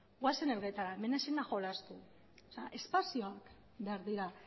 goazen elgetara hemen ezin da jolastu espazioak behar dira